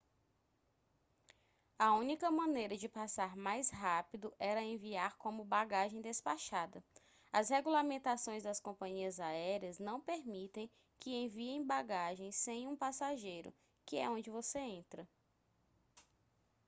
a única maneira de passar mais rápido era enviar como bagagem despachada as regulamentações das companhias aéreas não permitem que enviem bagagens sem um passageiro que é onde você entra